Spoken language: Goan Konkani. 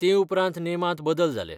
ते उपरांत नेमांत बदल जाले.